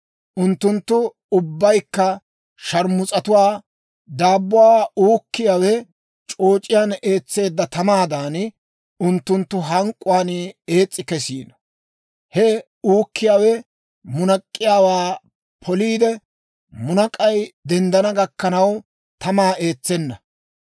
Unttunttu ubbaykka sharmus's'atuwaa; daabbuwaa uukkiyaawe c'ooc'iyaan eetseedda tamaadan, unttunttu hank'k'uwaan ees's'i kesiino. He uukkiyaawe munak'k'iyaawaa poliide, munak'ay denddana gakkanaw, tamaa eetsenna.